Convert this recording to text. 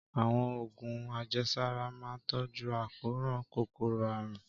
Àwọn oògùn àjẹsára máa ń tọ́jú àkóràn kòkòrò àrùn